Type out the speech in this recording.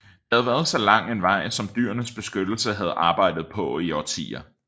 Det havde været så lang en vej som Dyrenes Beskyttelse havde arbejdet på i årtier